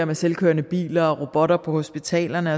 med selvkørende biler og robotter på hospitalerne og